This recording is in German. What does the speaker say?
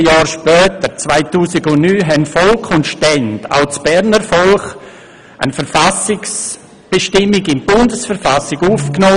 14 Jahre später, 2009, haben Volk und Stände – auch das Berner Volk – eine Verfassungsbestimmung in die Bundesverfassung aufgenommen.